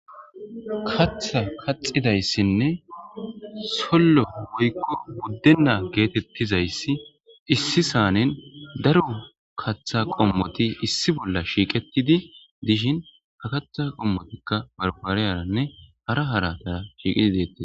katha kaxidayssinne sollo woykko buddenaa geetettizayssi issi saanen daro katha qommoti issi bolla shiiqetidi dishin ha kaththa qommotikka barfariyaranne hara haratara shiiqidi deetti